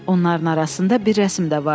Onların arasında bir rəsm də vardı.